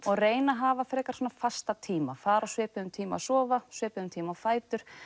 og reyna að hafa frekar fasta tíma reyna að fara á svipuðum tíma að sofa svipuðum tíma á fætur